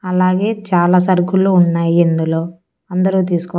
అలాగే చాలా సరుకులు ఉన్నాయి ఇందులో అందరూ తీసుకో--